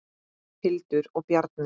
Hildur og Bjarni.